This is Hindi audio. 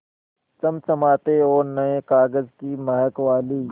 चमचमाती और नये कागज़ की महक वाली